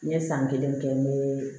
N ye san kelen kɛ n bɛ